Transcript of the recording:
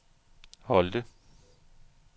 Holte